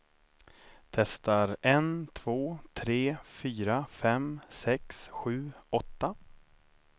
Testar en två tre fyra fem sex sju åtta.